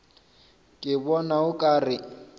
ke bona o ka re